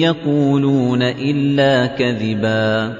يَقُولُونَ إِلَّا كَذِبًا